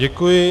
Děkuji.